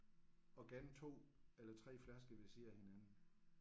Og gerne 2 eller 3 flasker ved siden af hinanden